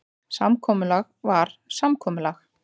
Samkomulag var samkomulag.